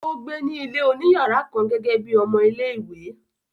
ó gbé ní ilé òní yàrá kan gẹ́gẹ́ bíi ọmọ-ilé-ìwé.